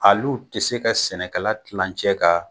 Al'u te se ka sɛnɛkɛla kilancɛ ka